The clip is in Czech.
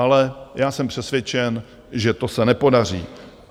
Ale já jsem přesvědčen, že to se nepodaří.